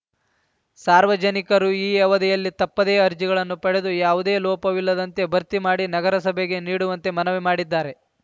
ಸಾರ್ವಜನಿಕರು ಈ ಅವಧಿಯಲ್ಲಿ ತಪ್ಪದೆ ಅರ್ಜಿಗಳನ್ನು ಪಡೆದು ಯಾವುದೇ ಲೋಪವಿಲ್ಲದಂತೆ ಭರ್ತಿ ಮಾಡಿ ನಗರಸಭೆಗೆ ನೀಡುವಂತೆ ಮನವಿ ಮಾಡಿದ್ದಾರೆ